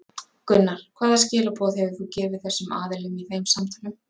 Gunnar: Hvaða skilaboð hefur þú gefið þessum aðilum í þeim samtölum?